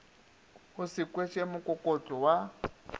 o se kweše mokokotlo wa